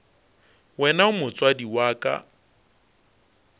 wena o motswadi wa ka